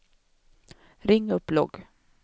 ring upp logg